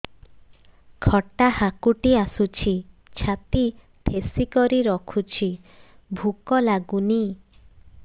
ଖଟା ହାକୁଟି ଆସୁଛି ଛାତି ଠେସିକରି ରଖୁଛି ଭୁକ ଲାଗୁନି